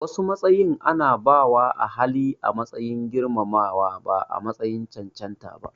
Wasu matsayin ana bawa ahaline a matsayin girmamawa ba a matsayin cancanta ba